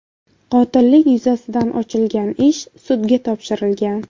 Qotillik yuzasidan ochilgan ish sudga topshirilgan.